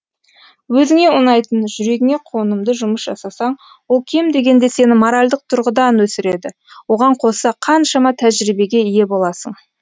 өзіңе ұнайтын жүрегіңе қонымды жұмыс жасасаң ол кем дегенде сені моральдық тұрғыдан өсіреді оған қоса қаншама тәжірибеге ие боласың